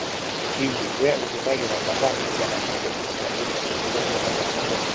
Hihi we ũhuthagĩra mathaa maigana nenda-inĩ cia ũkinyanĩria mũthenya ũmwe?